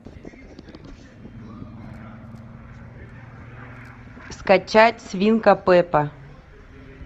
скачать свинка пеппа